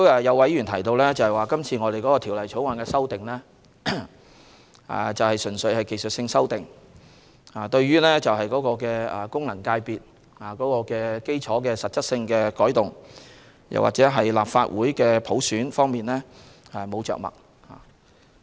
有議員提到今次《條例草案》的修訂純屬技術性，對於功能界別基礎的實質改動，或普選立法會方面未有着墨。